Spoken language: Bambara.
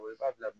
O b'a bila